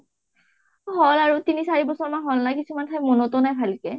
হল আৰু, তিনি চাৰি বছৰ মান হল না কিছুমান ঠাই মনতো নাই ভালকে